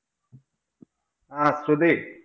ആഹ് ശ്രുതി